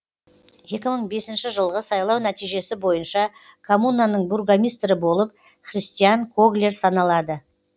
екі мың бесінші жылғы сайлау нәтижесі бойынша коммунаның бургомистрі болып христиан коглер саналады